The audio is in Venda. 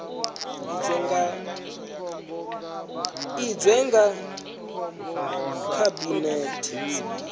i sedzwe nga khabinethe zwi